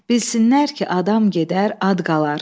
Bilsinlər ki, adam gedər, ad qalar.